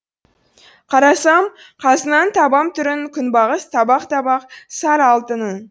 қарасам қазынаның табам түрін күнбағыс табақ табақ сары алтының